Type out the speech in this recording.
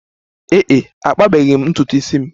Ee e, akpabeghi m ntutu isi m.